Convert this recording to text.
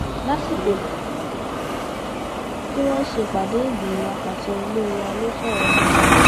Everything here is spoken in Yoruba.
lásìkò tí wọn ń ṣèpàdé ìgbìmọ àpasẹ ilé wa ló sọrọ náà